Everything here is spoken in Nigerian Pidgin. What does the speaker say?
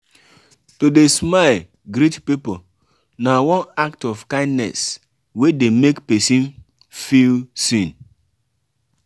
to de smile greet pipo na one act of kindness wey de make persin feel seen